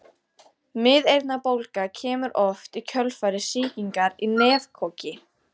Miðeyrnabólga kemur oft í kjölfar sýkingar í nefkoki.